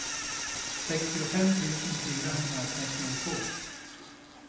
sextiofem tusen fyrahundratrettiotvå